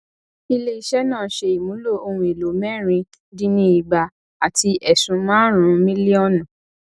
ileiṣẹ náà ṣe ìmúlò ohun èlò mẹrin dín ni igba àti ẹsún marun milionu